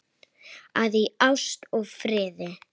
að í ást og friði